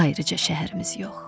Ayrıca şəhərimiz yox.